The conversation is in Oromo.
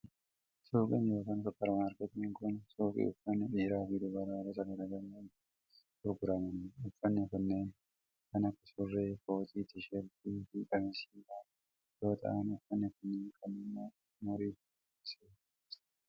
Suuqiin yookin supparmaarkettiin kun, suuqii uffanni dhiiraa fi dubaraa gosa garaa garaa itti gurguramanii dha. Uffanni kunneen kan akka:surree, kootii, Tiishartii fi qamisii faa yoo ta'an, uffanni kunneen kan nama umurii dargaggeesssaa fi ga'eessaa dha.